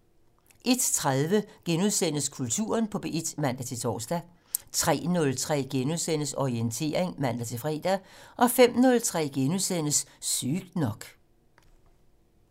01:30: Kulturen på P1 *(man-tor) 03:03: Orientering *(man-fre) 05:03: Sygt nok *